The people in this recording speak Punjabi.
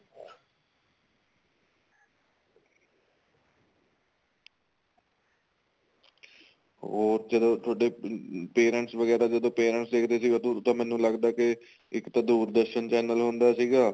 ਹੋਰ ਚਲੋ ਤੁਹਾਡੇ parents ਵਗੈਰਾ ਜਦੋਂ parents ਦੇਖਦੇ ਸੀ ਉਦੋ ਤਾਂ ਮੈਨੂੰ ਲੱਗਦਾ ਕੀ ਇੱਕ ਤਾਂ ਦੂਰਦਰਸ਼ਨ channel ਹੁੰਦਾ ਸੀਗਾ